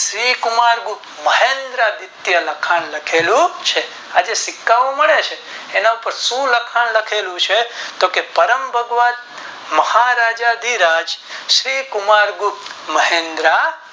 શ્રી કુમાર ગુપ્ત મહેન્દ્ર ગુપ્તે લખાણ લખેલું છે આજે જે સિક્કા ઓ મળે છે એના પર શું લખાણ લખેલું છે તો કે પરમ ભગત મહારાજા ધધી રાજ શ્રી કુમાર ગુપ્ત મહેન્દ્રા